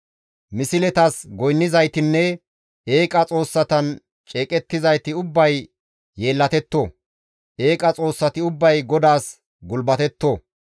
Misletas goynnizaytinne eeqa xoossatan ceeqettizayti ubbay yeellatetto! eeqa xoossati Ubbay GODAAS gulbatetto!